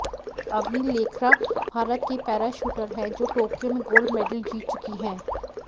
अवनि लेखरा भारत की para shooter हैं जो टोक्यो में गोल्ड मेडल जीत चुकी हैं